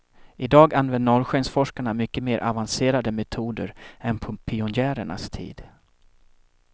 Idag använder norrskensforskarna mycket mer avancerade metoder än på pionjärernas tid.